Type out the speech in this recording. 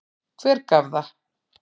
Hver gaf það?